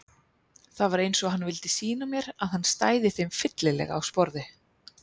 Það var eins og hann vildi sýna mér að hann stæði þeim fyllilega á sporði.